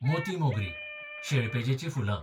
मोती मोगरी, शेळपेजेचीं फुलां